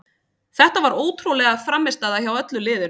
Þetta var ótrúleg frammistaða hjá öllu liðinu.